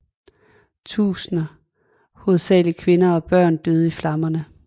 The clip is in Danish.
Tusinder hovedsageligt kvinder og børn døde i flammerne